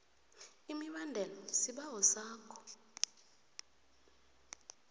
imibandela isibawo sakho